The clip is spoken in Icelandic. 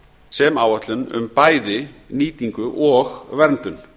sem áætlun um bæði nýtingu og verndun